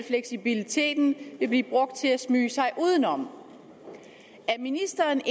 fleksibiliteten blive brugt til at smyge sig udenom er ministeren